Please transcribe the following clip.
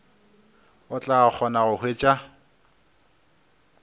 o tla kgona go hwetša